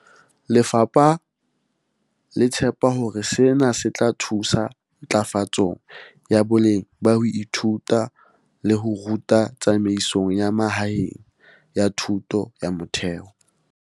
Lefapha le tshepa hore sena se tla thusa ntlafatsong ya boleng ba ho ithuta le ho ruta tsamaisong ya mahaeng ya thuto ya motheo.